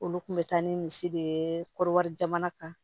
Olu kun bɛ taa ni misi de ye kɔriwari jamana kan